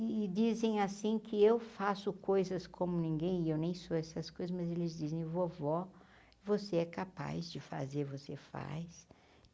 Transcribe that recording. E dizem assim que eu faço coisas como ninguém, e eu nem sou essas coisas, mas eles dizem, vovó, você é capaz de fazer, você faz.